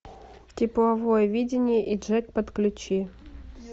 тепловое видение и джек подключи